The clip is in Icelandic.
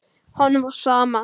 Honum var sama.